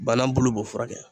Bana bolo bɛ furakɛ.